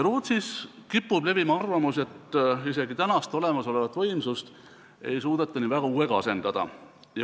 Rootsis kipub levima arvamus, et isegi olemasolevat võimsust ei suudeta nii väga uuega asendada.